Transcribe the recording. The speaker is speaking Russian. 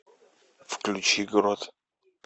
включи грот